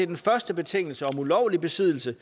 den første betingelse om ulovlig besiddelse